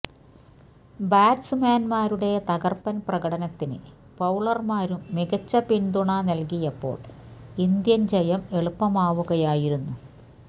ബാറ്റ്സ്മാന്മാരുടെ തകര്പ്പന് പ്രകടനത്തിന് ബൌളര്മാരും മികച്ച പിന്തുണ നല്കിയപ്പോള് ഇന്ത്യന് ജയം എളുപ്പമാവുകയായിരുന്നു